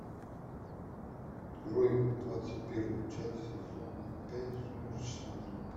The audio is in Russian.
открой двадцать первую часть сезона пять сумеречная зона